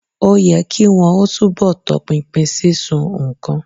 Ó yẹ kì wọn ó túnbọ̀ tọpinpin sísun nǹkan.